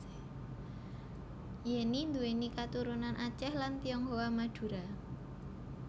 Yenny nduwèni katurunan Aceh lan Tionghoa Madura